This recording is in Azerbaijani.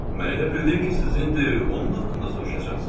Mən elə bildim ki, siz indi onun haqqında soruşacaqsız.